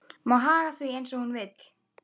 Má haga því eins og hún vill.